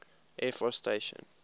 air force station